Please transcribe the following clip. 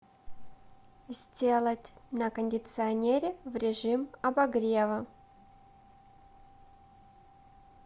сделать на кондиционере в режим обогрева